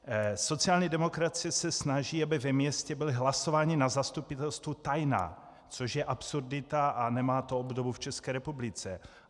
Sociální demokracie se snaží, aby ve městě byla hlasování na zastupitelstvu tajná, což je absurdita a nemá to obdobu v České republice.